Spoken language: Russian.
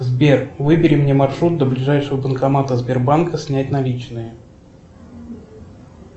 сбер выбери мне маршрут до ближайшего банкомата сбербанка снять наличные